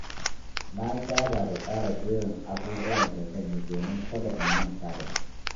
Na saba da tsara jerin abubuwan da zan yi domin kada in manta da su.